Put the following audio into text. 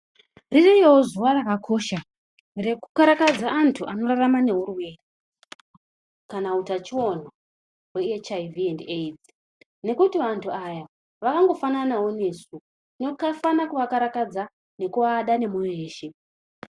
Ririyo zuva rakakosha, rekukarakadza antu anorarama neurwere kana utachiona hweHIV endi AIDS, Nekuti vantu aya vakangofananawo nesu. Tinofanira kuvakarakadza nekuvada nemoyo yeshe.